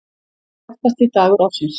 Bjartasti dagur ársins.